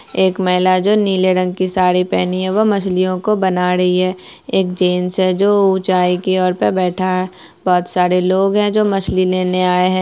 एक महिला है जो नीले रंग के साड़ी पहनी है वह मछलियों को बना रही है एक जेन्स है जो उचाई की ओर पर बैठा है बहुत सारे लोग है जो मछली लेने आये है।